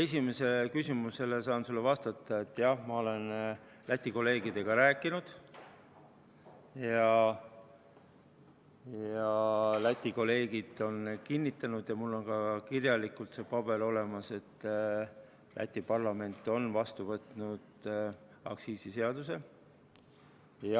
Esimesele küsimusele saan sulle vastata, et jah, ma olen Läti kolleegidega rääkinud ja nad on kinnitanud – mul on ka kirjalikult see paber olemas –, et Läti parlament on vastu võtnud aktsiisiseaduse.